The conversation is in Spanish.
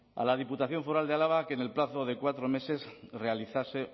a la diputación foral de álava a que en el plazo de cuatro meses realizase